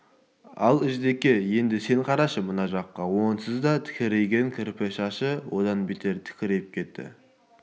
ал ждеке енді сен қарашы мына жаққа онсыз да тікірейген кірпі шашы одан бетер тікірейіп кетті